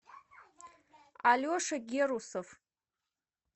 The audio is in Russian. алеша герусов